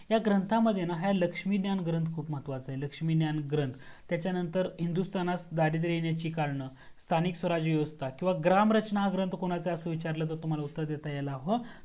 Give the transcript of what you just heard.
ह्या ग्रंथा मध्ये लक्ष्मी ज्ञान ग्रंथ खूप महत्वाचा आहे लक्ष्मी ज्ञान ग्रंथ त्याच्या नंतर हिंदुस्थानात गाडीदे लिहण्याचे कारणे स्थानिक स्वराज्य व्यवस्था किव्हा ग्राम रचना ग्रंथ कोनाचा आहे असा विचारलातर तुम्हाला उत्तर देता यायला हवं